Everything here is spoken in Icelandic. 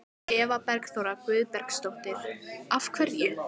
Eva Bergþóra Guðbergsdóttir: Af hverju?